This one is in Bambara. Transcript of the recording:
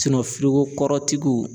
foko kɔrɔtigiw